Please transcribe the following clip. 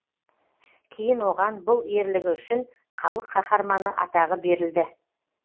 кейін оған бұл ерлігі үшін халық қаһарманы атағы берілді